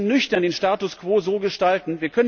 Wir müssen nüchtern den Status quo so gestalten.